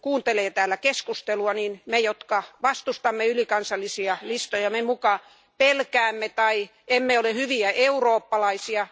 Kun kuuntelee täällä keskustelua, niin me, jotka vastustamme ylikansallisia listoja, me muka pelkäämme tai emme ole hyviä eurooppalaisia.